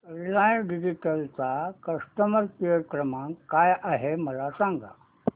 Reliance digital चा customer care क्रमांक काय आहे मला सांगा